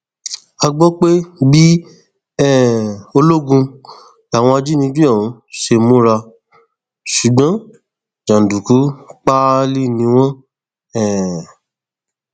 a gbọ pé bíi um olóògùn làwọn ajìnigbé ọhún ṣe múra ṣùgbọn jàǹdùkú páálí ni wọn um